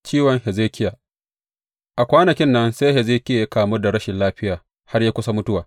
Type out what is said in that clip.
Ciwon Hezekiya A kwanakin nan sai Hezekiya ya kamu da rashin lafiya har ya kusa mutuwa.